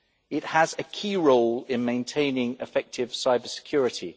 It has a key role in maintaining effective cybersecurity.